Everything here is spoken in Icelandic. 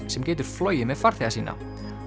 sem getur flogið með farþega sína